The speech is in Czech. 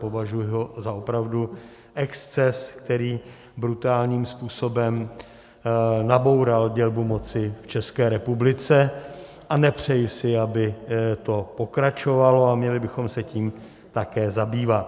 Považuji ho za opravdu exces, který brutálním způsobem naboural dělbu moci v České republice, a nepřeji si, aby to pokračovalo, a měli bychom se tím také zabývat.